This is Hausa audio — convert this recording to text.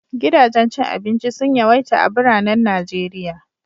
Gidajen cin abinci sun yawaita a biranen Najeriya.